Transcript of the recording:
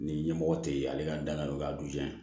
Ni ɲɛmɔgɔ tɛ yen ale ka danaya don a dugujɛ